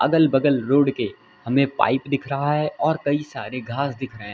अगल बगल रोड के हमें पाइप दिख रहा है और कई सारे घास दिख रहे हैं।